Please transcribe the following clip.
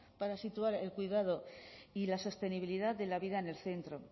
para situar el cuidado y la sostenibilidad de la vida en el centro